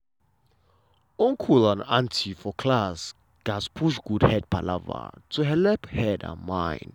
uncle and auntie for class gat push good head palava to helep head and mind.